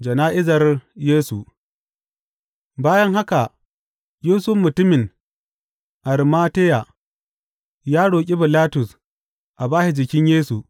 Jana’izar Yesu Bayan haka, Yusuf mutumin Arimateya ya roƙi Bilatus a ba shi jikin Yesu.